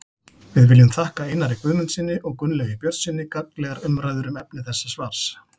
Við viljum þakka Einari Guðmundssyni og Gunnlaugi Björnssyni gagnlegar umræður um efni þessa svars.